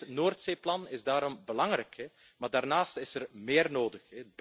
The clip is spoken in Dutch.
Dit Noordzeeplan is daarom belangrijk, maar daarnaast is er meer nodig.